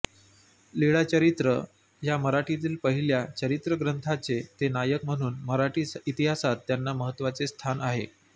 लीळाचरित्र या मराठीतील पहिल्या चरित्रग्रंथाचे ते नायक म्हणून मराठी इतिहासात त्यांना महत्त्वाचे स्थान आहे